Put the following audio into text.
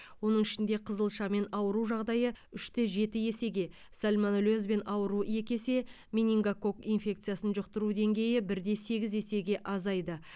оның ішінде қызылшамен ауыру жағдайы үш те жеті есеге сальмонеллезбен ауыру екі есе менингогок инфекциясын жұқтыру деңгейі бір де сегіз есеге азайды